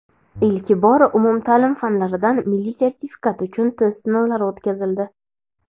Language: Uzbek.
Ilk bor umumta’lim fanlaridan milliy sertifikat uchun test sinovlari o‘tkazildi.